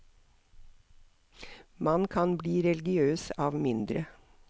Man kan bli religiøs av mindre.